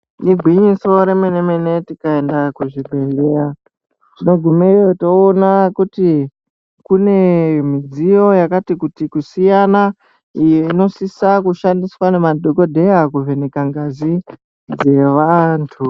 Ingwinyiso remene mene kuti tikaenda kuzvibehleya tinogumeyo toona kuti midziyo yakati kuti kusiyana iyo inosisa kushandiswa ngemadhokodheya kuvheneka ngazi dzevanthu.